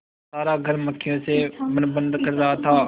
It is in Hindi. सारा घर मक्खियों से भनभन कर रहा था